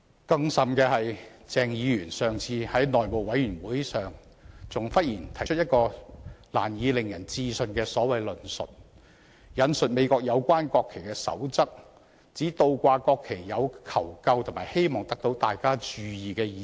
更甚的是，鄭議員上次在內務委員會上忽然提出一種令人難以置信的所謂論述，引述美國有關國旗的守則，指倒掛國旗有求救和希望得到大家注意的意思。